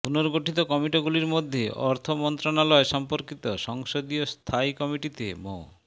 পুনর্গঠিত কমিটিগুলোর মধ্যে অর্থ মন্ত্রণালয় সম্পর্কিত সংসদীয় স্থায়ী কমিটিতে মো